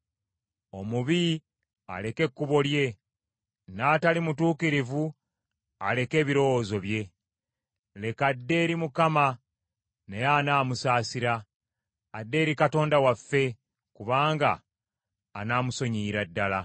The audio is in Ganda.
Omubi aleke ekkubo lye, n’atali mutuukirivu aleke ebirowoozo bye. Leka adde eri Mukama naye anaamusaasira, adde eri Katonda waffe kubanga anaamusonyiyira ddala.